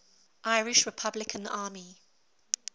irish republican army